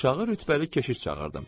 Aşağı rütbəli keşiş çağırdım.